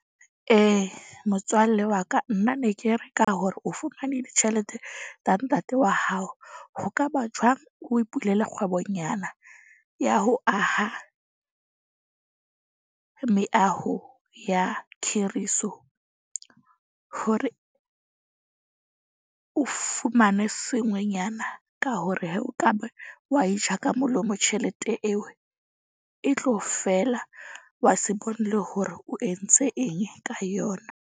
Motswalle wa ka nna ne ke reka hore o fumane ditjhelete tsa ntate wa hao. Ho ka ba jwang o ipulele kgwebonyana ya ho aha meaho ya khiriso, hore o fumane sengwenyana. Ka hore he o ka ba wa e ja ka molomo, tjhelete eo e tlo fela. Wa se bone le hore o entse eng ka yona.